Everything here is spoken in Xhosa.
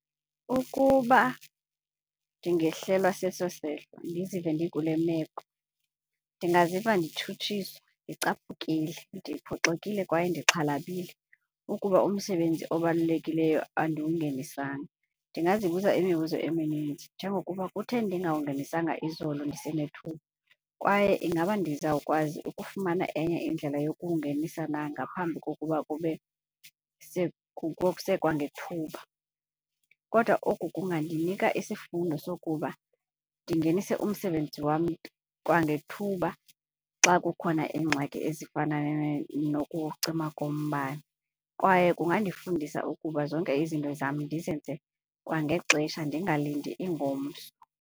Ukuba ndingehlelwa seso sehlo ndizive ndikule meko, ndingaziva ndishutshiswa, ndicaphukile, ndiphoxile kwaye ndixhalabile ukuba umsebenzi obalulekileyo andiwungenisanga. Ndingazibuza imibuzo eminintsi njengokuba kutheni ndingawungenisanga izolo ndisenethuba kwaye ingaba ndizawukwazi ukufumana enye indlela yokuwungenisa na ngaphambi kokuba kube kusekwangethuba? Kodwa oku kungandinika isifundo sokuba ndingenise umsebenzi wam kwangethuba xa kukhona iingxaki ezifana nokucima kombane kwaye kungandifundisa ukuba zonke izinto zam ndizenze kwangexesha ndingalindi ingomso.